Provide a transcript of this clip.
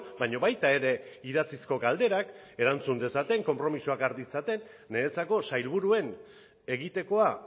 baina baita ere idatzizko galderak erantzun dezaten konpromisoak hartu ditzaten niretzako sailburuen egitekoa